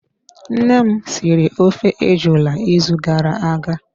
Nne m siri ofe ejula ịzụ gara aga.